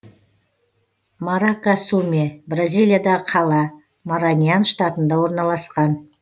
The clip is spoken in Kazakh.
маракасуме бразилиядағы қала мараньян штатында орналасқан